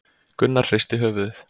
Gunnar hristi höfuðið.